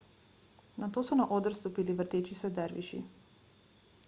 nato so na oder stopili vrteči se derviši